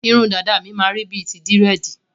Irun dàda mi máa rí bíi ti Dírẹ̀dì.